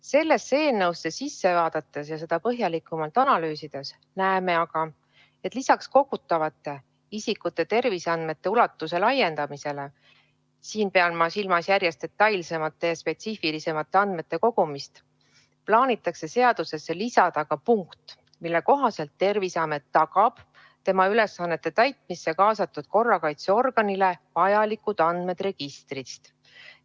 Sellesse eelnõusse sisse vaadates ja seda põhjalikumalt analüüsides näeme aga, et lisaks isikute terviseandmete kogumise ulatuse laiendamisele – ma pean silmas järjest detailsemate ja spetsiifilisemate andmete kogumist – plaanitakse seadusesse lisada ka punkt, mille kohaselt Terviseamet tagab tema ülesannete täitmisse kaasatud korrakaitseorganile vajalikud andmed registrist.